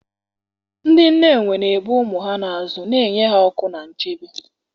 Ndị nne enwe na-ebu ụmụ ha n'azụ, na-enye ha ọkụ na nchebe.